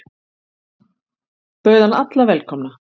Bauð hann alla velkomna.